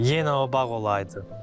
Yenə o bağ olaydı.